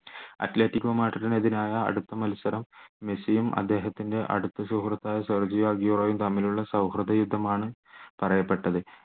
Atletico മാഡ്രിഡ്ന് എതിരായ അടുത്ത മത്സരം മെസ്സിയും അദ്ദേഹത്തിൻറെ അടുത്ത സുഹൃത്തായ സെർഗിയോ തമ്മിലുള്ള സൗഹൃദ യുദ്ധം ആണ് പറയപ്പെട്ടത്